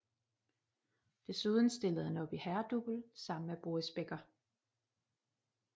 Desuden stillede han op i herredouble sammen med Boris Becker